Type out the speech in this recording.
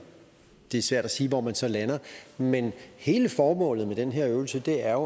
det er svært at sige hvor man så lander men hele formålet med den her øvelse er